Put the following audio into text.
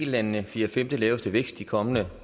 landene den fjerde femte laveste vækst de kommende